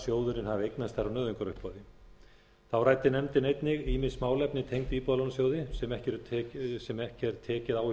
sjóðurinn hafi eignast þær á nauðungaruppboði þá ræddi nefndin einnig ýmis málefni tengd íbúðalánasjóði sem ekki er tekið á í